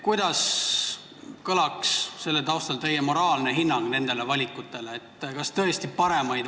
Kuidas kõlab selle taustal teie moraalne hinnang nendele valikutele?